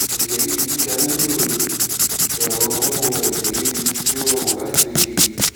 ẹjẹ riru giga lilo ẹrọ wiwọn ẹjẹ riru ti o rọrun lati gbe kiri